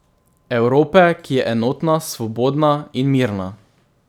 Evrope, ki je enotna, svobodna in mirna.